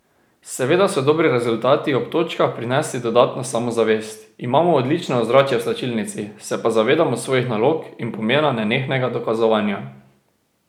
Seveda so dobri rezultati ob točkah prinesli dodatno samozavest, imamo odlično ozračje v slačilnici, se pa zavedamo svojih nalog in pomena nenehnega dokazovanja.